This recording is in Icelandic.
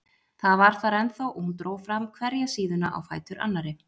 Það var þar ennþá og hún dró fram hverja síðuna á fætur annarri.